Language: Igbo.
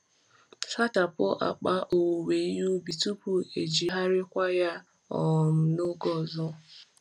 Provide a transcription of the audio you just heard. Sachapụ akpa owuwe ihe ubi tupu ejigharịkwa ya um n’oge ọzọ.